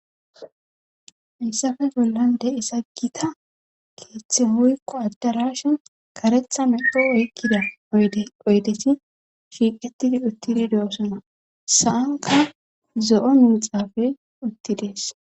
hayssafe bollan de'za gita keeththe woyko addarashen karetha medo oykkida oydesi shiiqettidi uttidi de7osona sa7anka zo7o miixafey uttidees